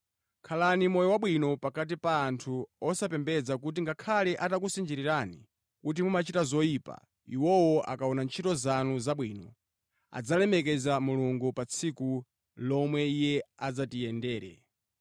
Khalani moyo wabwino pakati pa anthu osapembedza kuti ngakhale atakusinjirirani kuti mumachita zoyipa, iwowo akaona ntchito zanu zabwino, adzalemekeza Mulungu pa tsiku lomwe Iye adzatiyendere.